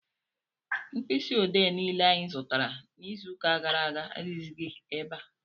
Mkpisi odee niile anyị zụtara n'iziuka gara aga adighizi ebea.